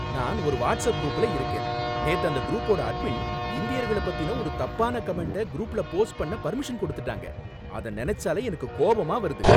நான் ஒரு வாட்ஸ்ஆப் குரூப்ல இருக்கேன், நேத்து அந்த குரூப்போட அட்மின் இந்தியர்கள பத்தின ஒரு தப்பான கமெண்ட்ட க்ரூப்ல போஸ்ட் பண்ண பர்மிஷன் கொடுத்துட்டாங்க, அத நனைச்சாலே எனக்கு கோவமா வருது.